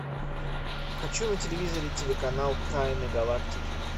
хочу на телевизоре телеканал тайны галактики